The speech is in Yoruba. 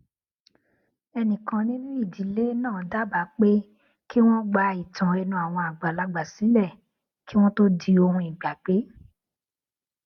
ẹnìkan nínú ìdílé náà dábàá pé kí wón gba ìtàn ẹnu àwọn àgbàlagbà sílè kí wón tó di ohun ìgbàgbé